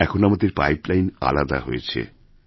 এখন আমাদের পাইপ লাইনআলাদা হয়েছে